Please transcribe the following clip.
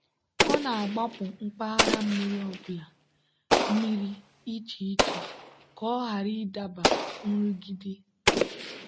a na-agbapụ mpaghara mmiri ọ bụla mmiri iche iche ka ọ ghara ịdaba nrụgide.